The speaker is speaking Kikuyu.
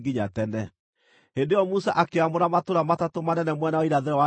Hĩndĩ ĩyo Musa akĩamũra matũũra matatũ manene mwena wa irathĩro wa Jorodani,